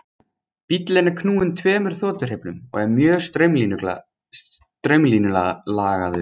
Bíllinn er knúinn tveimur þotuhreyflum og er mjög straumlínulagaður.